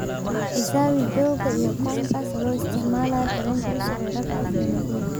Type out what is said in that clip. xisaabi joogga iyo kombaska adoo isticmaalaya tareenka u socda rccg ee nairobi